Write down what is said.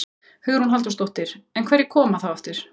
Hugrún Halldórsdóttir: En einhverjir koma. þá aftur?